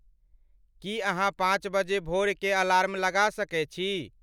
की अहाँपांच बजे भोर के अलार्म लगा सके छी